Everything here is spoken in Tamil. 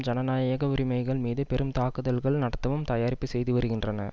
ஜனநாயக உரிமைகள் மீது பெரும் தாக்குதல்கள் நடத்தவும் தயாரிப்பு செய்து வருகின்றன